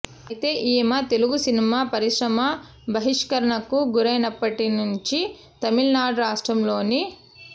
అయితే ఈమె తెలుగు సినిమా పరిశ్రమ బహిష్కరణకు గురైనప్పటి నుంచి తమిళనాడు రాష్ట్రంలోని